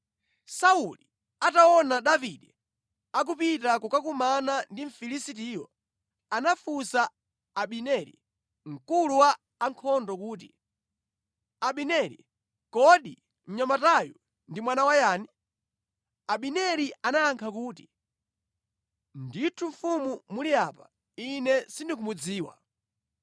Sauli ataona Davide akupita kukakumana ndi Mfilisitiyo anafunsa Abineri, mkulu wa ankhondo kuti, “Abineri, kodi mnyamatayu ndi mwana wa yani?” Abineri anayankha kuti, “Ndithu mfumu muli apa ine sindikumudziwa.”